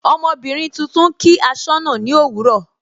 Ọmọbìnrin tuntun kí asọna ni òwúrọ̀.